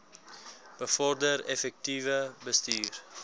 bevorder effektiewe bestuur